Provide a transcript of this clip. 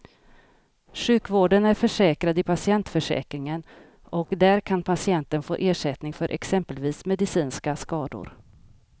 Sjukvården är försäkrad i patientförsäkringen och där kan patienten få ersättning för exempelvis medicinska skador.